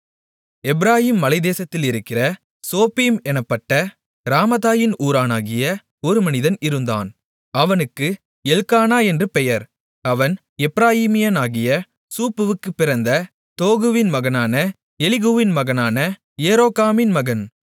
எப்பிராயீம் மலைத்தேசத்திலிருக்கிற சோப்பீம் என்னப்பட்ட ராமதாயீம் ஊரானாகிய ஒரு மனிதன் இருந்தான் அவனுக்கு எல்க்கானா என்று பெயர் அவன் எப்பிராயீமியனாகிய சூப்புக்குப் பிறந்த தோகுவின் மகனான எலிகூவின் மகனான எரோகாமின் மகன்